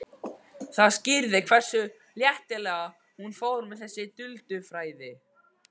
Það skýrði hversu léttilega hún fór með þessi duldu fræði.